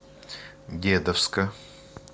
дедовска